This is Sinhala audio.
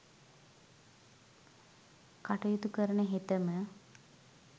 කටයුතු කරන හෙතෙම